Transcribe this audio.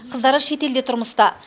қыздары шетелде тұрмыста